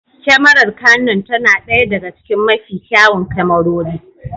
Kyamarar Canon tana ɗaya daga cikin mafi kyawun kyamarori.